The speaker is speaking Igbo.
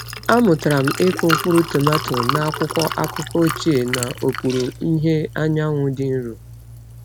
Amụtara m ịkụ mkpụrụ tomato n’akwụkwọ akụkọ ochie n’okpuru ìhè anyanwụ dị nro.